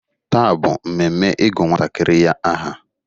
Taa bụ mmemme ịgụ nwantakịrị ya aha.